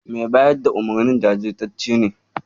Mai bayar da umarnin jajirtacce ne.